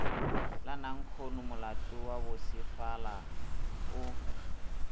la nankhonomolato wa bosefala o